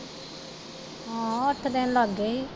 ਹਾਂ ਅੱਠ ਦਿਨ ਲੱਗਗੇ ਹੀ।